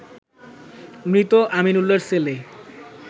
মৃত আমিন উল্লার ছেলে